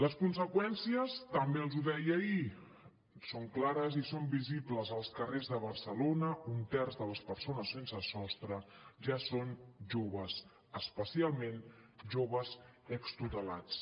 les conseqüències també els ho deia ahir són clares i són visibles als carrers de barcelona un terç de les persones sense sostre ja són joves especialment joves extutelats